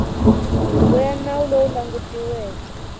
huvo ya nawu lowu langutiweke